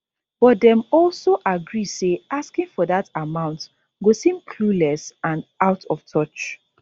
but dem also agree say asking for dat amount go seem clueless and out of touch